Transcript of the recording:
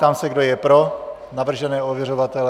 Ptám se, kdo je pro navržené ověřovatele.